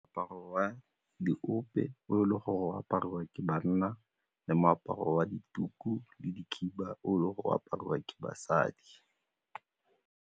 Moaparo wa diope o le gore o apariwa ke banna le moaparo wa dituku le dikhiba o e le gore o apariwa ke basadi.